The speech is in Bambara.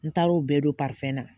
N taar'o bɛɛ don na